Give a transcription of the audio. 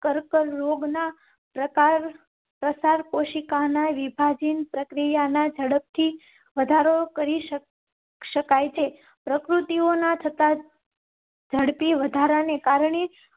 કર્કરોગ ના પ્રકાર પ્રસાર કોશિકા ના વિભાજન પ્રક્રિયા ઝડપથી વધારો કરી. શકાય છે પ્રકૃતિ ઓના થતા. ઝડપી વધારા ને કારણે